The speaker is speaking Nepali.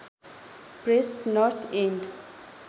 pressed North end